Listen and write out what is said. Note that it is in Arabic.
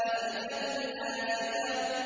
أَزِفَتِ الْآزِفَةُ